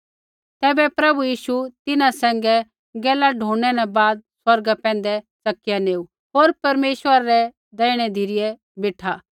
तैबै प्रभु यीशु तिन्हां सैंघै गैला ढूणनै न बाद स्वर्गा पैंधै च़किया नेऊ होर परमेश्वरा रै दैहिणै धिरै बेठा